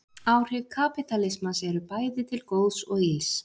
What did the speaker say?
Áhrif kapítalismans eru bæði til góðs og ills.